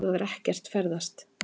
Þú hefur ekkert ferðast.